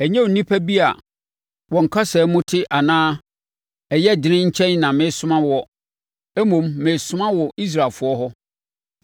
Ɛnyɛ nnipa bi a wɔn kasa mu nte anaa ɛyɛ dene nkyɛn na meresoma woɔ, mmom meresoma wo Israelfoɔ hɔ.